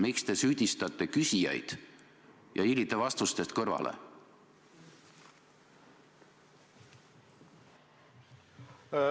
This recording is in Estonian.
Miks te süüdistate küsijaid ja hiilite vastustest kõrvale?